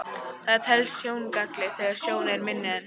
Það telst sjóngalli þegar sjón er minni en